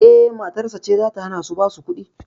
Eh, matarsa ce zata hanashi basu kuɗi